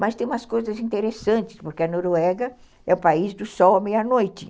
Mas tem umas coisas interessantes, porque a Noruega é o país do sol à meia-noite.